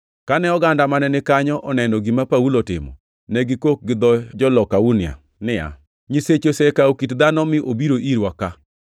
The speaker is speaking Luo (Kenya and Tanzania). Kane oganda mane ni kanyo oneno gima Paulo otimo, ne gikok gi dho jo-Lukaonia niya, “Nyiseche osekawo kit dhano mi obiro irwa ka!”